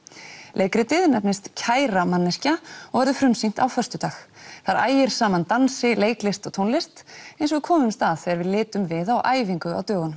leikritið nefnist kæra manneskja og verður frumsýnt á föstudag þar ægir saman dansi leiklist og tónlist eins og við komumst að þegar við litum við á æfingu á dögunum